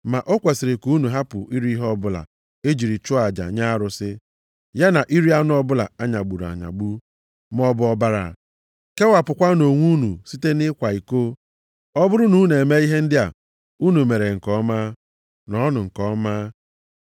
Ma o kwesiri ka unu hapụ iri ihe ọbụla e jiri chụọ aja nye arụsị, ya na iri anụ ọbụla a nyagburu anyagbu, maọbụ ọbara. Kewapụkwanụ onwe unu site nʼịkwa iko. Ọ bụrụ na unu eme ihe ndị a, unu mere nke ọma. Nọọnụ nke ọma.